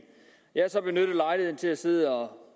jeg har så benyttet lejligheden til at sidde og